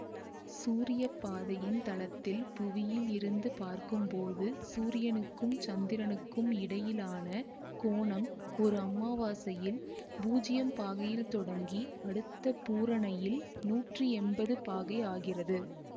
சூரிய பாதையின் தளத்தில் புவியில் இருந்து பார்க்கும்போது சூரியனுக்கும் சந்திரனுக்கும் இடையிலான கோணம் ஒரு அமாவாசையில் பூஜ்யம் பாகையில் தொடங்கி அடுத்த பூரணையில் நூற்றி எம்பது பாகை ஆகிறது